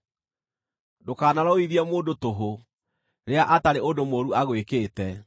Ndũkanarũithie mũndũ tũhũ, rĩrĩa atarĩ ũndũ mũũru agwĩkĩte.